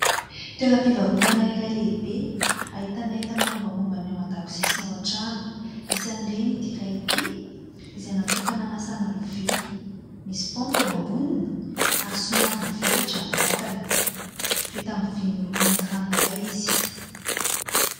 Toeram-pivarotana iray lehibe ahitana entana mombamomba ny ao an-dakozia sy ny ao an-trano. isan'ireny ity iray ity izay natokana hanasana lovia, misy paompy eo amboniny ary somary mivelatra ny vatany, vita amin'ny vy miloko mainty ranoray izy.